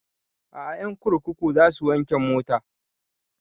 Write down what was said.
A'a ƴan kurkuku za su wanke motan